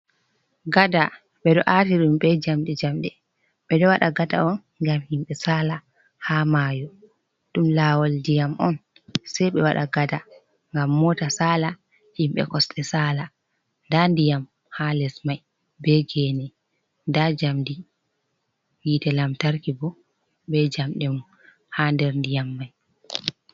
Gada ɓeɗo ati ɗum be jamde jamde, ɓe ɗo waɗa gada on ngam himɓe sala ha mayo, ɗum lawol ndiyam on sei ɓe waɗa gada ngam mota sala, himɓe kosde sala, nda ndiyam ha les mai be gene, nda jamdi hite lamtarki bo, be jamde mum ha nder ndiyam mai.